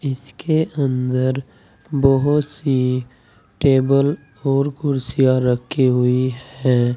इसके अंदर बहुत सी टेबल और कुर्सियां रखी हुई है।